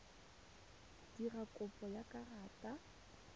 dira kopo ya karata ya